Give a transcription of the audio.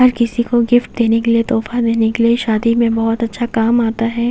यह किसीको गिफ्ट देने के लिए तोफ़ा देने के लिए शादी में बहोत अच्छा काम आता हैं।